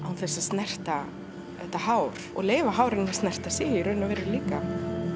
án þess að snerta þetta hár og leyfa hárinu að snerta sig í raun og veru líka